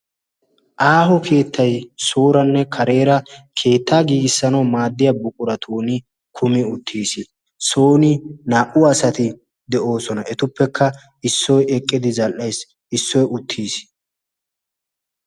aaho keettay sooranne kareera keettaa giigissanawu maaddiya buquratun kumi uttiis sooni naa''u asati de'oosona etuppekka issoy eqqidi zal''aya issoy uttiis